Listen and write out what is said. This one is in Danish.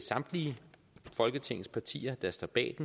samtlige folketingets partier der står bag